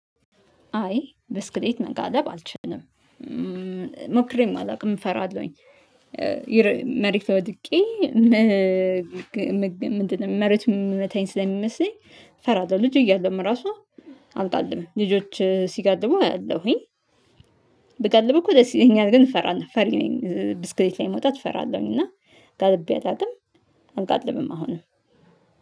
አይ ብስክሌት መጋለብ አልችልም። ሞክሬም አላውቅም እፈራለሁኝ መሬት ላይ ወድቄ። ምንድነው መሬቱ የሚመታኝ ስለሚመስለኝ። እፈራለሁ ልጅ እያለሁም ራሱ አልጋልብም። ልጆች ሲጋልቡ አያለሁኝ። ብጋልብ እኮ ደስ ይለኛል ግን እፈራለሁ ፈሪ ነኝ። ብስክሌት ላይ መውጣት እፈራለሁኝ። እና ጋልቤ አላውቅም። አልጋልብም አሁንም